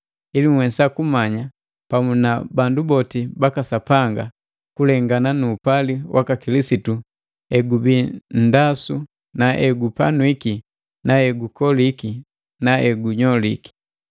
ili nhwesa kumanya pamu na bandu boti baka Sapanga kulengana nu upali waka Kilisitu egubii nndasu na egupanwiki na egukoliki na egunyoliki.